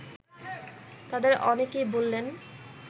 তাদের অনেকেই বললেন